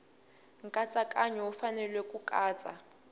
nkatsakanyo wu fanele ku katsa